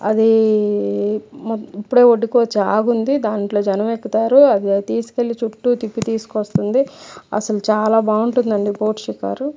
అదీ-దీ ఇప్పుడే ఒడ్డుకొచ్చి ఆగి ఉంది దాంట్లో జనం ఎక్కుతారు. అది తీసుకెళ్లి చుట్టూ తిప్పి తీసుకొస్తుంది అసలు చాలా బాగుంటది బోట్ షికారు.